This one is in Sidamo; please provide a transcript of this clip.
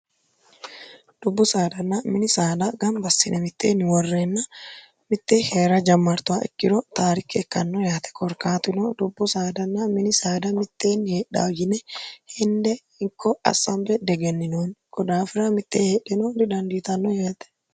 dubbu saadanna mini saada ganbassine mitteenni worreenna mittee heera jammartowa ikkiro taarikke ikkanno yaate korkaatino dubbu saadanna mini saada mitteenni heedhaa yine hende ikko assambe degenninoonni kodaafira mitteen heedheno didandiitanno yeete